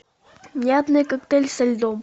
мятный коктейль со льдом